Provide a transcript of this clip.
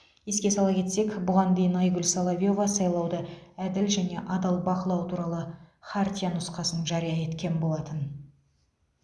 еске сала кетсек бұған дейін айгүл соловьева сайлауды әділ және адал бақылау туралы хартия нұсқасын жария еткен болатын